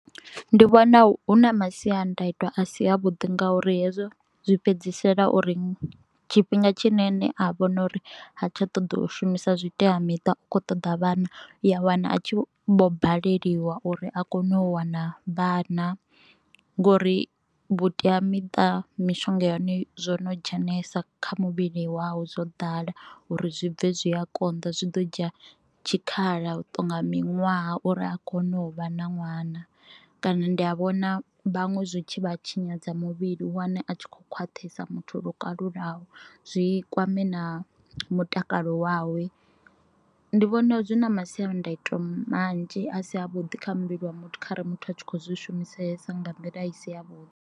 Ndi vhona hu na masiandaitwa a si a vhuḓi ngauri hezwo zwi fhedzisela uri tshifhinga tshine ene a vhona uri ha tsha ṱoḓa ushumisa zwitea miṱa u kho ṱoḓa vhana u ya wana a tshi vho baleliwa uri a kone u wana vhana ngori vhutea miṱa mishonga yone zwo no dzhenelesa kha muvhili wau dzo ḓala uri zwi bve zwi a konḓa zwi ḓo dzhia tshikhala tonga miṅwaha uri a kone u vha na ṅwana, kana ndi a vhona vhaṅwe zwitshi vha tshinyadza muvhili u wane a tshi kho khwaṱhesa muthu lwo kalulaho zwi kwame na mutakalo wawe. Ndi vhona zwi na masiandoitwa manzhi a si a vhuḓi kha muvhili wa muthu kha ra li muthu a tshi kho zwi shumisesa nga nḓila i si ya vhuḓi.